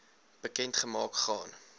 bekend gemaak gaan